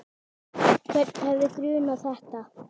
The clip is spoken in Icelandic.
Hvern hefði grunað þetta?